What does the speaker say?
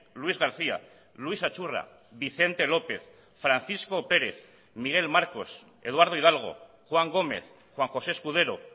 luis garcía luis achurra vicente lópez francisco pérez miguel marcos eduardo hidalgo juan gómez juan josé escudero